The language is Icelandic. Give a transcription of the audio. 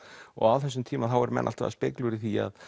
og á þessum tíma þá voru menn alltaf að spekúlera í því